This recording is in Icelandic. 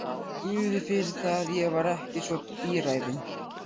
Guði fyrir það, ég var ekki svo bíræfin.